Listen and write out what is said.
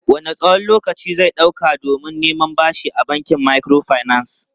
Wanne tsawon lokaci zai ɗauka don neman bashi a bankin microfinance?